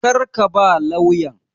Kar ka ba lauyan!